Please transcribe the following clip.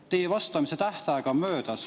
Teie vastamise tähtaeg on möödas.